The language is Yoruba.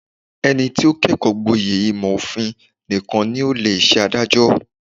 Ẹni tí ó kẹ́kọ̀ọ́ gboyè ìmọ̀ òfin nìkan ni ó lè ṣe adájọ́.